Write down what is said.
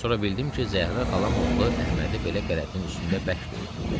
Sonra bildim ki, Zəhra xalam oğlu Əhmədi belə qələtin üstündə bərk döyüb.